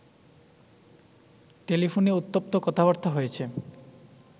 টেলিফোনে উত্তপ্ত কথাবার্তা হয়েছে